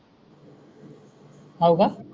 हव का?